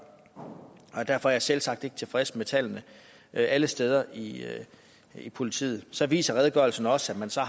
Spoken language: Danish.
og derfor er jeg selvsagt ikke tilfreds med tallene alle steder i i politiet så viser redegørelsen også at man så